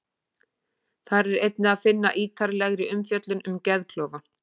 Þar er einnig að finna ítarlegri umfjöllun um geðklofa.